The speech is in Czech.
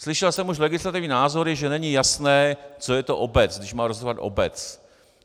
Slyšel jsem už legislativní názory, že není jasné, co je to obec, když má rozhodovat obec.